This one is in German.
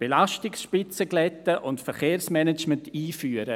Belastungsspitzen glätten und Verkehrsmanagement einführen: